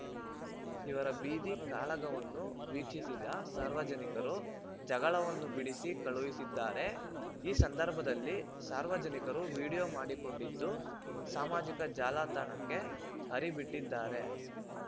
ಇವರ ಬೀದಿ ಕಾಳಗವನ್ನು ವೀಕ್ಷಿಸಿದ ಸಾರ್ವಜನಿಕರು ಜಗಳವನ್ನು ಬಿಡಿಸಿ ಕಳುಹಿಸಿದ್ದಾರೆ ಈ ಸಂದರ್ಭದಲ್ಲಿ ಸಾರ್ವಜನಿಕರು ವಿಡಿಯೋ ಮಾಡಿಕೊಂಡಿದ್ದು ಸಾಮಾಜಿಕ ಜಾಲತಾಣಕ್ಕೆ ಹರಿ ಬಿಟ್ಟಿದ್ದಾರೆ